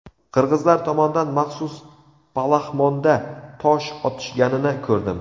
Qirg‘izlar tomondan maxsus palaxmonda tosh otishganini ko‘rdim.